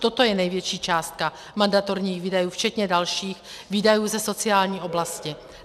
Toto je největší částka mandatorních výdajů včetně dalších výdajů ze sociální oblasti.